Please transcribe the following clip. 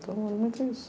Então, era muito isso.